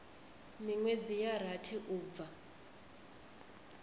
minwedzi ya rathi u bva